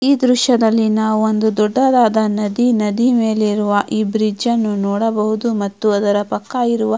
ಈ ದೃಶ್ಯದಲ್ಲಿ ನಾವು ಒಂದು ದೊಡ್ಡದಾದ ನದಿ ನದಿ ಮೇಲೆ ಇರುವ ಈ ಬ್ರಿಜ್ ಅನ್ನು ನೋಡಬಹುದು ಮತ್ತು ಅದರ ಪಕ್ಕ ಇರುವ--